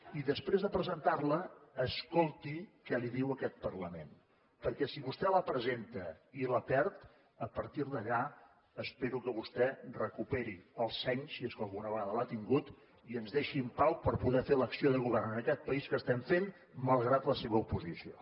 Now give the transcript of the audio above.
i després de presentar la escolti què li diu aquest parlament perquè si vostè la presenta i la perd a partir d’allà espero que vostè recuperi el seny si és que alguna vegada l’ha tingut i ens deixi en pau per poder fer l’acció de govern en aquest país que estem fent malgrat la seva oposició